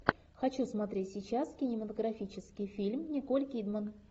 хочу смотреть сейчас кинематографический фильм николь кидман